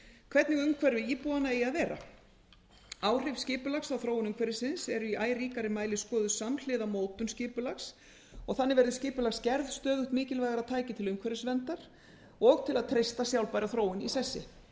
hvernig umhverfi íbúanna eigi að vera áhrif skipulags á þróun umhverfisins eru í æ ríkari mæli skoðuð samhliða mótun skipulags og þannig verði skipulagsgerð stöðugt mikilvægara tæki til umhverfisverndar og til að treysta sjálfbæra þróun í þessu